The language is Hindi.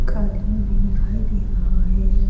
एक आदमी भी दिखाई दे रहा है।